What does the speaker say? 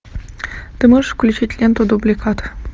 ты можешь включить ленту дубликат